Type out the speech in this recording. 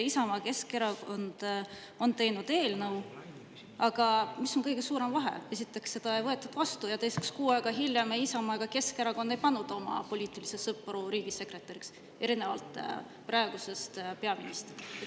Isamaa ja Keskerakond on teinud eelnõu, aga kõige suurem vahe on see: esiteks, seda ei võetud vastu, ja teiseks, kuu aega hiljem ei Isamaa ega Keskerakond ei pannud oma poliitilisi sõpru riigisekretäriks, erinevalt praegusest peaministrist.